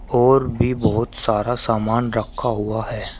और भी बहोत सारा सामान रखा हुआ है।